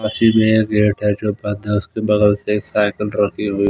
उसके बदल से एक साइकिल रखी हु--